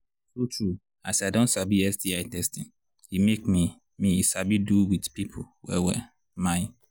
true true as i don sabi sti testing e make me me sabi do with people well well my